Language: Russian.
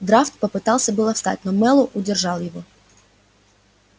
драфт попытался было встать но мэллоу удержал его